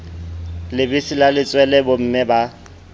lebese la letswele bomme ba